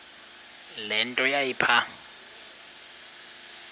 le nto yayipha